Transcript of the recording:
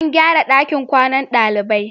An gyara ɗakin kwanan ɗalibai.